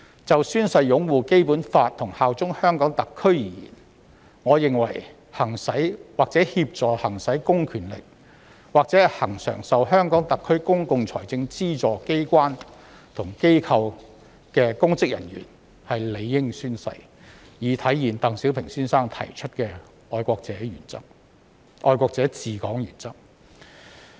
就宣誓擁護《基本法》和效忠特區而言，我認為行使或協助行使公權力，或恆常受特區公共財政資助機關和機構的公職人員理應宣誓，以體現鄧小平先生提出的愛國者治港原則。